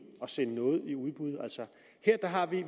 at sende noget i udbud når